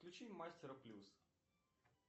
включи мастера плюс